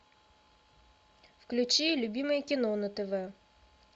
включи любимое кино на тв